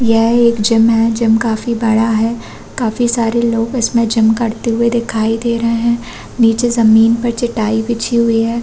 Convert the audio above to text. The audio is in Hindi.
यह एक जिम है जिम काफी बड़ा है काफी सारे लोग इसमें जिम करते दिखाई दे रहै है निचे जमीन पर चटाई बिछी हुई हैं।